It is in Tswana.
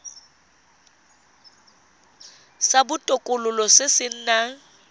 sa botokololo se se nang